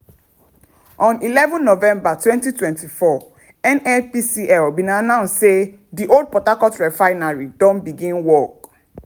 on eleven november 2024 nnpcl bin announce say di old port harcourt refinery don begin work.